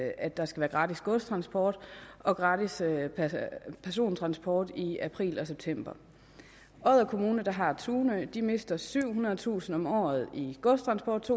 at der skal være gratis godstransport og gratis persontransport i april og september odder kommune der har tunø mister syvhundredetusind kroner om året i godstransport